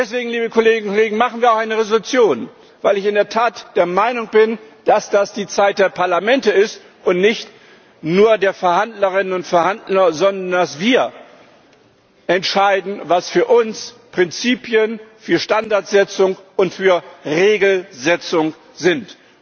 Deswegen machen wir auch eine Entschließung, weil ich in der Tat der Meinung bin, dass das die Zeit der Parlamente ist und nicht nur der Verhandlerinnen und Verhandler, sondern dass wir entscheiden, was für uns Prinzipien für Standardsetzung und für Regelsetzung sind.